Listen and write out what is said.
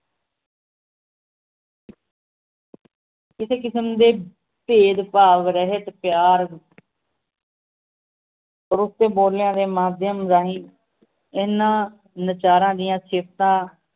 ਕਿਸੇ ਕਿਸਮ ਦੇ ਭੇਦ ਭਾਵ ਰਹਿਤ ਪਿਆਰ ਬੋਲੀਆਂ ਦੇ ਮਾਧਿਅਮ ਰਾਹੀਂ ਇਹਨਾਂ ਨਚਾਰਾਂ ਦੀਆਂ ਸਿਫਤਾਂ